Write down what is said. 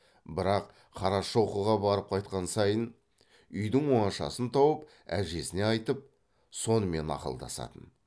бірақ қарашоқыға барып қайтқан сайын үйдің оңашасын тауып әжесіне айтып сонымен ақылдасатын